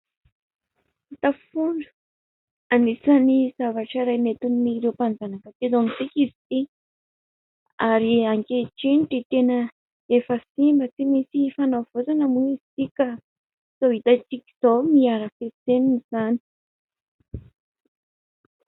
Tafondro anisan'ny zavatra iray nentin'ireo mpanjanaka teto amintsika izy ity, ary ankehitriny dia tena efa simba, tsy misy fanavaozana moa izy ity ka izao hitantsika izao miha arafesenina izany.